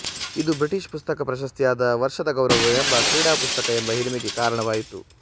ಇದು ಬ್ರಿಟಿಷ್ ಪುಸ್ತಕ ಪ್ರಶಸ್ತಿಯಾದ ವರ್ಷದ ಗೌರವ ಎಂಬ ಕ್ರೀಡಾ ಪುಸ್ತಕ ಎಂಬ ಹಿರಿಮೆಗೆ ಕಾರಣವಾಯಿತು